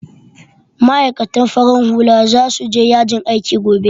Ma'aikatan farin hula za su je yajin aiki gobe